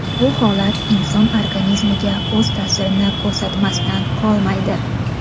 Bu holat inson organizmiga o‘z ta’sirini ko‘rsatmasdan qolmaydi.